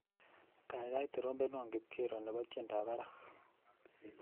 Kaikai trompenwa kipkero nebo tyendab barak